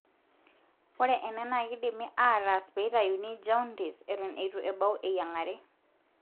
ore ena na kindimi ataas peitayuni jaundice eton etu ebau eyiangare